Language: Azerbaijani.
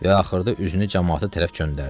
Və axırda üzünü camaata tərəf göndərdi.